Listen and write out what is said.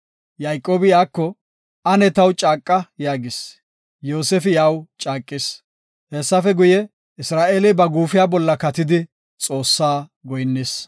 Yayqoobi iyako, “Ane taw caaqa” yaagis. Yoosefi iyaw caaqis. Hessafe guye, Isra7eeley ba guufiya bolla katidi Xoossaa goyinnis.